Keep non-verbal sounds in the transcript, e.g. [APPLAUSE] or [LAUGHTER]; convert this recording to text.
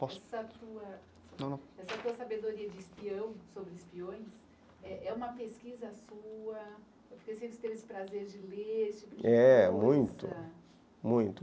[UNINTELLIGIBLE] essa tua sabedoria de espião, sobre espiões, é uma pesquisa sua? [UNINTELLIGIBLE] prazer de ler, é, muito, muito